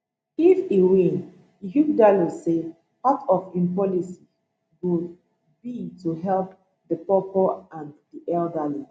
if e win ighodalo say part of im policies go be to help di poorpoor and di elderly